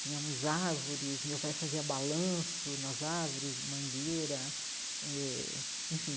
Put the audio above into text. Tínhamos árvores, meu pai fazia balanço nas árvores, mangueira, eh enfim.